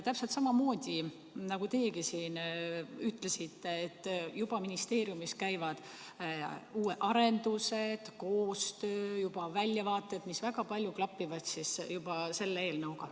Täpselt samamoodi nagu teiegi siin ütlesite, et ministeeriumis juba käivad uued arendused, on koostöö, juba on väljavaated, mis juba väga palju klapivad selle eelnõuga.